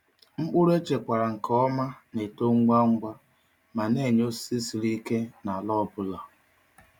Mkpụrụ echekwara nke ọma na-eto ngwa ngwa ma na-enye osisi siri ike n’ala ọ bụla.